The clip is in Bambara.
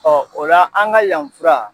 o la an ŋa yan fura